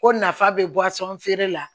Ko nafa bɛ bɔ a sɔn feere la